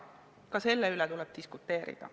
Ka selle üle tuleb diskuteerida.